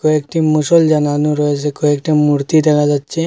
কয়েকটি মশাল জ্বালানো রয়েছে কয়েকটি মূর্তি দেখা যাচ্ছে।